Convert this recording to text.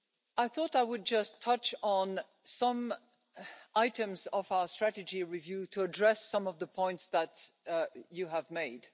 I thought I would just touch on some items of our strategy review to address some of the points that you have made.